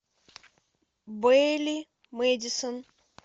бэйли мэдисон